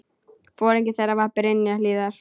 Foringi þeirra var Brynja Hlíðar.